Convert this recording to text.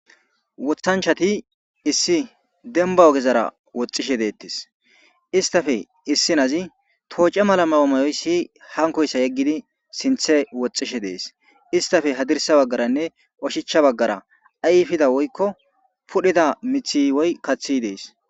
Wothanchati issi demba ogezara woxxishe deettis istafe issi nazi tooce mala mawomayoy siy hankoyssa yeggidi sinthe woxxishe dees istafe hadirsa baggaranne oshichcha baggara ayfida woykko pudhida mithi woy kaththi dees.